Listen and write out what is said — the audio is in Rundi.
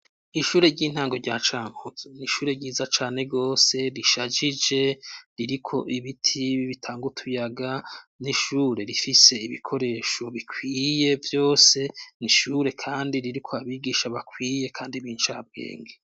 Ishure ry'intango rya Cankuzo ni ishure ryiza cane gose rishajije, ririko ibiti bitanga utuyaga. Ni ishure rifise ibikoresho bikwiye vyose, ni ishure kandi ririko abigisha bakwiye kandi b'incabwenge.